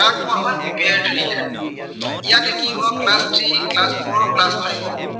তাক কোৱা হয় preparetory year ইয়াতে কি হব class three, class four, class five